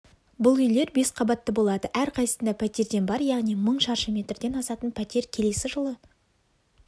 бұл үйлер бес қабатты болады әрқайсысында пәтерден бар яғни мың шаршы метрден асатын пәтер келесі жылы